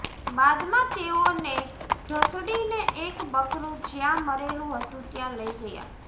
બાદમાં તેઓને ઢસડીને એક બકરું જ્યાં મરેલું હતું ત્યાં લઇ ગયા